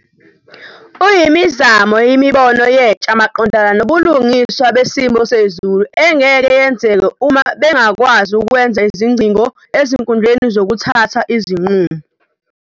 Uyimizamo yemibono yentsha maqondana nobulungiswa besimo sezulu engeke yenzeke uma bengakwazi ukwenza izingcingo ezinkundleni zokuthatha izinqumo.